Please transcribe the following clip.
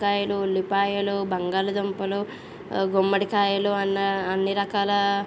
వంకాయలు ఉల్లిపాయలు బంగాళాదుంపలు గుమ్మడి కాయలు అన్ని రకాల --